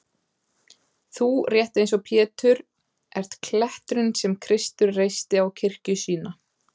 Þú, rétt eins og Pétur,-ert kletturinn sem Kristur reisti á kirkju sína.